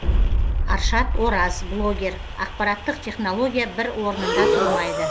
аршат ораз блогер ақпаратттық технология бір орнында тұрмайды